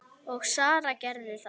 Og Sara gerði það.